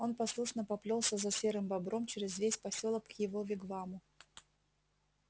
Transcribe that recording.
он послушно поплёлся за серым бобром через весь посёлок к его вигваму